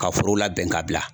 Ka foro labɛn ka bila